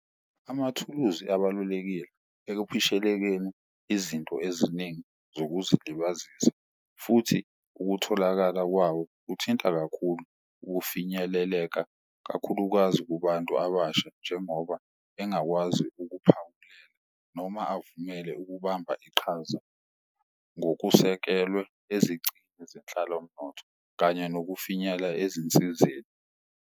Amathuluzi abalulekile ekuphishelekeni izinto eziningi zokuzilibazisa futhi ukutholakala kwawo kuthinta kakhulu ukufinyeleleka kakhulukazi kubantu abasha. Njengoba engakwazi noma avumele ukubamba iqhaza ngokusekelwe zenhlalomnotho kanye nokufinyela ezinsizeni.